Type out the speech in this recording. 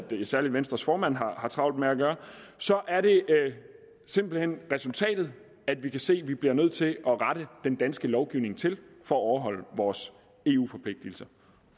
ved særligt venstres formand har travlt med at gøre så er det simpelt hen resultatet at vi kan se at vi bliver nødt til at rette den danske lovgivning til for at overholde vores eu forpligtelser